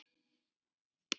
Anna var líka dugleg.